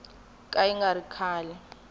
ka yi nga ri kahle